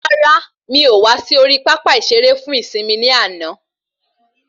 Rárá, mí o wá sí orí pápá ìsere fún ìsimi ni àna